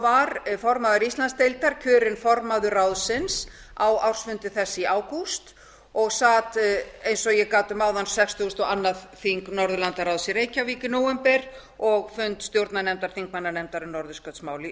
var formaður íslandsdeildar kjörin formaður ráðsins á ársfundi þess í ágúst og sat eins og ég gat um áðan sextugustu og annað þing norðurlandaráðs í reykjavík í nóvember og fund stjórnarnefndar þingmannanefndar um norðurskautsmál í